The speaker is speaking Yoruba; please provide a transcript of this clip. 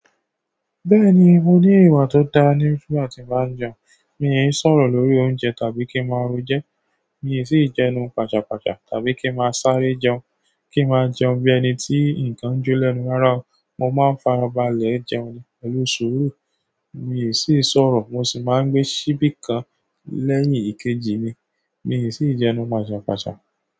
Bẹ́ẹ̀ni, mo ní ìwà tó da nígbà tí m ba n jẹun. Mi n ṣòro lórí oúnjẹ tàbí kí n máa rò ejo mi sì jẹnu pàṣàpàṣà tàbí kí n máa sáré jẹun. Kí n máa jẹun bí ẹni tí nǹkan jó lẹ́nu rárá. Mo maa n farabalẹ̀ jẹun ní pẹ̀lú sùúrù, mi ò sì ṣòro mo sì máa n gbé síbí kan lẹ́yìn kejì ni. Mi ò sì jẹun pàṣàpàṣà.